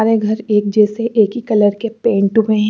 सारे घर एक जैसे एक ही कलर के पेंट हुए हैं।